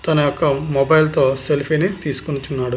తను యొక్క మొబైల్ తో సెల్ఫీ ని తీసుకుంటున్నాడు.